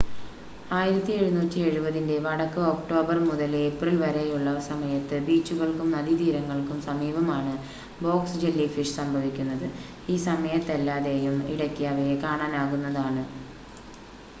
1770-ൻ്റെ വടക്ക് ഒക്ടോബർ മുതൽ ഏപ്രിൽ വരെയുള്ള സമയത്ത് ബീച്ചുകൾക്കും നദീതീരങ്ങൾക്കും സമീപമാണ് ബോക്സ് ജെല്ലിഫിഷ് സംഭവിക്കുന്നത് ഈ സമയത്തല്ലാതെയും ഇടയ്ക്ക് അവയെ കാണാനാകുന്നതാണ്